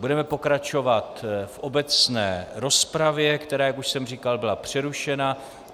Budeme pokračovat v obecné rozpravě, která, jak už jsem říkal, byla přerušena.